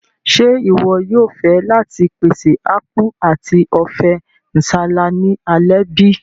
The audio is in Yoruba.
Ṣe iwọ yóò fẹ láti pèsè Apku ati Ofe nsala ni alẹ́ bi?